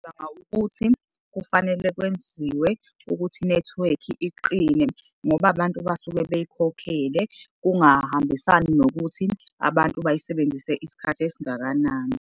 ukuthi kufanele kwenziwe ukuthi inethiwekhi iqine ngoba abantu basuke beyikhokhele. Kungahambisani nokuthi abantu bayisebenzise isikhathi esingakanani.